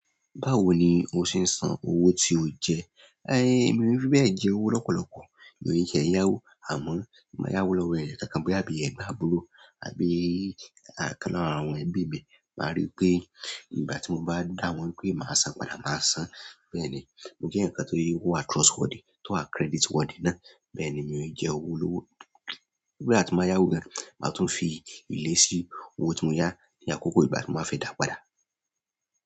Báwo ni o ṣe ń san owó tí o jẹ? Ehn, mí ò biífẹ̀ jí owó lọ́pọ̀lọpọ̀. Mi ò ní jẹ yáwó àmọ́, mo máa yá owó lọ́wọ́ ẹ̀yà kankan bí i àbí ẹ̀gbọ́n àbúrò àbí ìkan lára àwọn ẹbí mi. Màá rí pé ìgbà tí mo bá dá wọn pé màá san padà, màá san. Bẹ́ẹ̀ ni, mo jẹ́ èèyàn ǹkan tó yí owó à trustworthy tó wà creditworthy náà. Bẹ́ẹ̀ ni mi ò ní jẹ owó olọ́wọ́. Nígbà tí mo yá owó gan, màá tún fi ìlérí sí owó tí mo yá ní àkókò ìgbà tí mo fẹ́ dáa padà.